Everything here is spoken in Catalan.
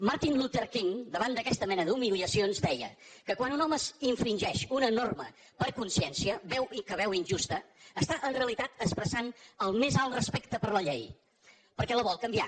martin luther king davant d’aquesta mena d’humiliacions deia que quan un home infringeix una norma per consciència que veu injusta està en realitat expressant el més alt respecte per la llei perquè la vol canviar